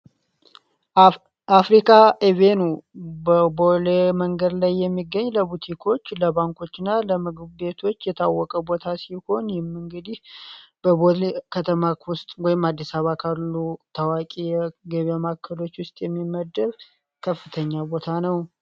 አፍሪካ ኢቬኑ በቦሌ መንገድ ላይ የሚገኝ ለቡቲኮች ፣ለባንኮች እና ለምግብ ቤቶች የታወቀ ቦታ ሲሆን ይህ እንግዲህ በቦሌ ከተማ ውስጥ ወይም ደሞ። አዲስ አበባ ውስጥ ካሉ የገበያ ማዕከል የሚመደብ ከፍተኛ ቦታ ነው።